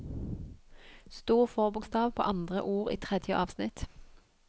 Stor forbokstav på andre ord i tredje avsnitt